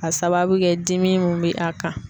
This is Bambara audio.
Ka sababu kɛ dimi min bɛ a kan.